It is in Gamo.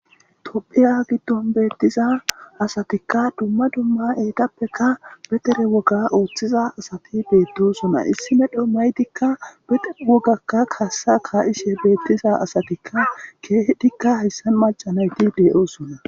tophiya giddon beettiza asatikka dumma dumma eetappeka betere woga ooththiza asati beettosuna issi medho maytikka bewogakka kaassa kaa7ishe beettiza asatikka keeh dikka hayssa macanayti de7oosunna